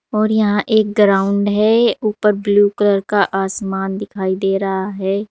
और यहां एक ग्राउंड है ऊपर ब्लू कलर का आसमान दिखाई दे रहा है।